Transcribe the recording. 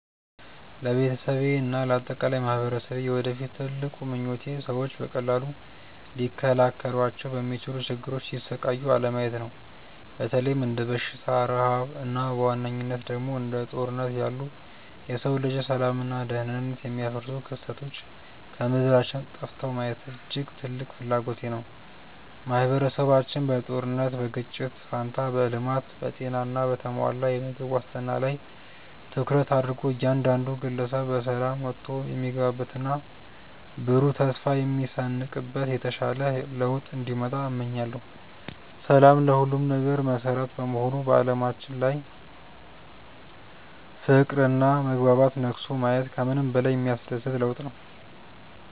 ለቤተሰቤና ለአጠቃላይ ማኅበረሰቤ የወደፊት ትልቁ ምኞቴ ሰዎች በቀላሉ ሊከላከሏቸው በሚችሉ ችግሮች ሲሰቃዩ አለማየት ነው። በተለይም እንደ በሽታ፣ ረሃብ እና በዋነኝነት ደግሞ እንደ ጦርነት ያሉ የሰው ልጅን ሰላምና ደኅንነት የሚያደፈርሱ ክስተቶች ከምድራችን ጠፍተው ማየት እጅግ ትልቅ ፍላጎቴ ነው። ማኅበረሰባችን በጦርነትና በግጭት ፋንታ በልማት፣ በጤና እና በተሟላ የምግብ ዋስትና ላይ ትኩረት አድርጎ እያንዳንዱ ግለሰብ በሰላም ወጥቶ የሚገባበትና ብሩህ ተስፋ የሚሰንቅበት የተሻለ ለውጥ እንዲመጣ እመኛለሁ። ሰላም ለሁሉም ነገር መሠረት በመሆኑ በዓለማችን ላይ ፍቅርና መግባባት ነግሶ ማየት ከምንም በላይ የሚያስደስት ለውጥ ነው።